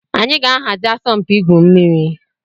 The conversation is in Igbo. Anyị ga-ahazi asọmpi igwu mmiri.